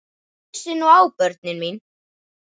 Hlustið nú á, börnin mín.